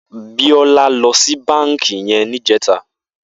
Biola lò si bànkí yèn nijètâ